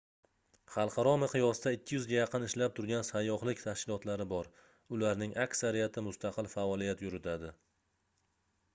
xalqaro miqyosda 200 ga yaqin ishlab turgan sayyohlik tashkilotlari bor ularning aksariyati mustaqil faoliyat yuritadi